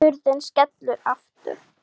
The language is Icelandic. Hurðin skellur aftur.